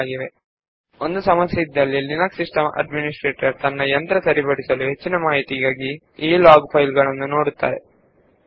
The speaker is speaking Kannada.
ಒಬ್ಬ ಲಿನಕ್ಸ್ ಸಿಸ್ಟಂ ಅಡ್ಮಿನಿಸ್ಟ್ರೇಟರ್ ಸಿಸ್ಟಂ ನಲ್ಲಿ ಏನಾದರೂ ತೊಂದರೆ ಸಂಭವಿಸಿದರೆ ಪರಿಹಾರ ಹುಡುಕುವ ಸಲುವಾಗಿ ಹೆಚ್ಚಿನ ಮಾಹಿತಿಗಾಗಿ ಈ ಲಾಗ್ ಫೈಲ್ ಗಳನ್ನು ನೋಡುತ್ತಾನೆ